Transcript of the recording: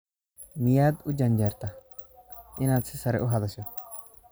Miyaad u janjeertaa inaad si sare u hadasho?